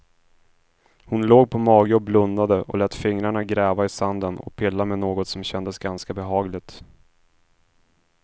Hon låg på mage och blundade och lät fingrarna gräva i sanden och pilla med något som kändes ganska behagligt.